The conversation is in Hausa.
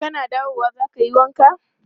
Kana dawowa za ka yi wanka?